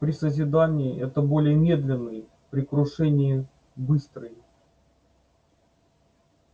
при созидании это более медленный при крушении быстрый